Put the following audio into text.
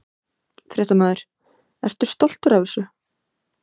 Fréttamaður: Ertu stoltur af þessu?